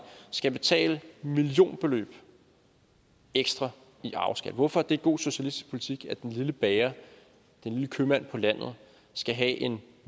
skal betale millionbeløb ekstra i arveskat hvorfor er det god socialistisk politik at den lille bager den lille købmand på landet skal have en